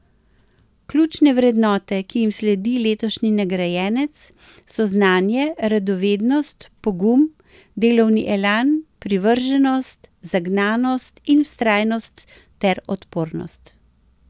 Ključne vrednote, ki jim sledi letošnji nagrajenec, so znanje, radovednost, pogum, delovni elan, privrženost, zagnanost in vztrajnost ter odpornost.